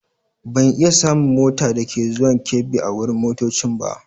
Ban iya samun mota dake zuwan Kebbi a wurin motoccin ba.